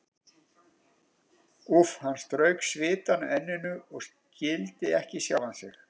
Úff, hann strauk svitann af enninu og skildi ekki sjálfan sig.